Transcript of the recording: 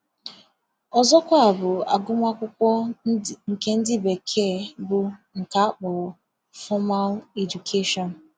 Ọzọkwa bụ agụmakwụkwọ nke ndị Bekee bụ nke akpọrọ ‘formal education’.